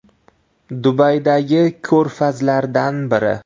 Dubaydagi ko‘rfazlardan biri.